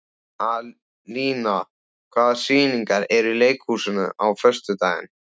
Alína, hvaða sýningar eru í leikhúsinu á föstudaginn?